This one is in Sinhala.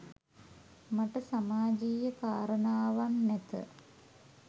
මට සමාජීය කාරණාවන් නැත.